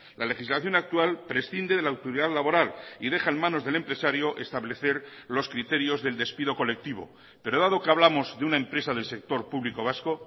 la legislación actual prescinde de la autoridad laboral y deja en manos del empresario establecer los criterios del despido colectivo pero dado que hablamos de una empresa del sector público vasco